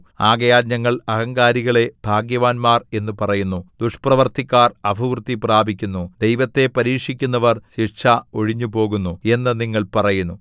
ആകയാൽ ഞങ്ങൾ അഹങ്കാരികളെ ഭാഗ്യവാന്മാർ എന്നു പറയുന്നു ദുഷ്പ്രവൃത്തിക്കാർ അഭിവൃദ്ധി പ്രാപിക്കുന്നു ദൈവത്തെ പരീക്ഷിക്കുന്നവർ ശിക്ഷ ഒഴിഞ്ഞുപോകുന്നു എന്നു നിങ്ങൾ പറയുന്നു